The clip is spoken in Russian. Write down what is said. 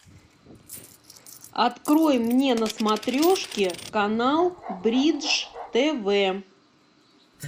открой мне на смотрешке канал бридж тв